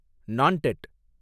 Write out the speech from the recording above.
Nanded